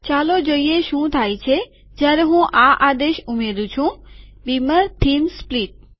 ચાલો જોઈએ શું થાય છે જયારે હું આ આદેશ ઉમેરું છું બીમર થીમ સ્પ્લીટ